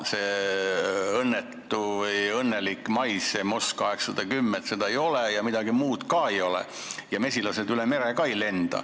Seda õnnetut või õnnelikku maisi, seda MON 810 ei ole ja midagi muud ka ei ole ja mesilased üle mere ka ei lenda.